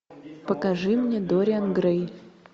покажи мне дориан грей